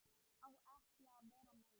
Á ekki að vera meir.